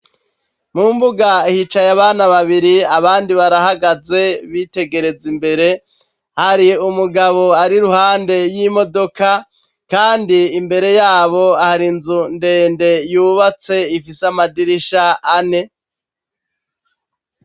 Mu mbuga hicaye abana babiri abandi barahagaze bitegereza imbere, hari umugabo ari ruhande y'imodoka, kandi imbere yabo hari inzu ndende yubatse ifise amadirisha ane.